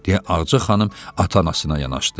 Deyə Ağca xanım ata-anasına yanaşdı.